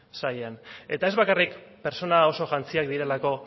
sailean eta ez bakarrik pertsona oso jantziak direlako